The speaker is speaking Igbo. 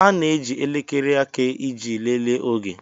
A na-eji elekere aka iji lelee oge.